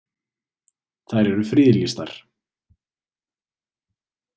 Þær eru friðlýstar.